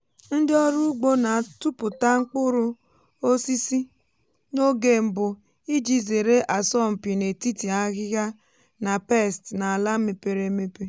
ndị ọrụ ugbo na-atụpụta mkpụrụ osisi n’oge mbụ iji zere asọmpi n’etiti ahịhịa na pests n’ala mepere emepe.